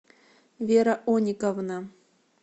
вера ониковна